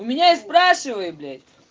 у меня и спрашивай блять